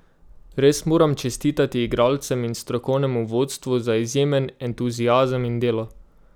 Res moram čestitati igralcem in strokovnemu vodstvu za izjemen entuziazem in delo.